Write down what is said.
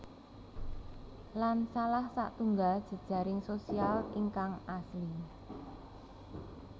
Lan salah satunggal jejaring sosial ingkang asli